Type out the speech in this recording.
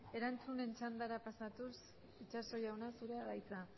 erantzunen txandara pasatuz itxaso jauna zurea da hitza